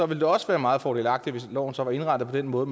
vil det også være meget fordelagtigt hvis loven så var indrettet på den måde